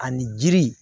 Ani jiri